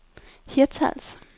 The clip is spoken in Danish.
Hirtshals